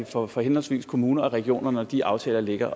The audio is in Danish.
for for henholdsvis kommuner og regioner når de aftaler ligger